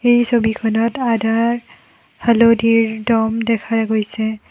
এই ছবিখনত আদাৰ হালধিৰ দম দেখা গৈছে।